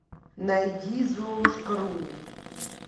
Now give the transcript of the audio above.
найди золушка ру